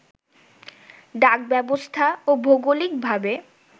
ডাক ব্যবস্থা ও ভৌগোলিক ভাবে